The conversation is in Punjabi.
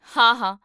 ਹਾਂ, ਹਾਂ